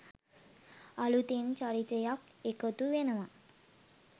අලුතෙන් චරිතයක් එකතු වෙනවා